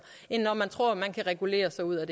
end når man tror at man kan regulere sig ud